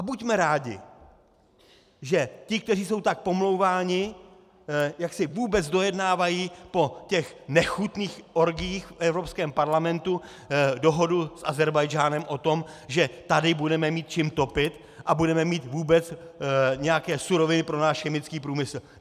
A buďme rádi, že ti, kteří jsou tak pomlouváni, jak si vůbec dojednávají po těch nechutných orgiích v Evropském parlamentu dohodu s Ázerbájdžánem o tom, že tady budeme mít čím topit a budeme mít vůbec nějaké suroviny pro náš chemický průmysl.